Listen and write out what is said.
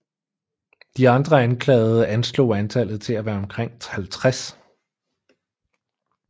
De andre anklagede anslog antallet til at være omkring 50